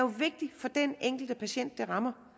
vigtigt for den enkelte patient der